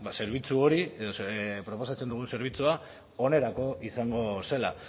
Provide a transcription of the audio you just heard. zerbitzu hori edo proposatzen dugun zerbitzua onerako izango zela